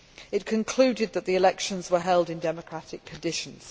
It concluded that the elections were held in democratic conditions.